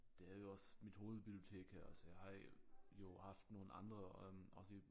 Det er jo også mit hovedbibliotek her altså jeg har jo haft nogle andre øh også i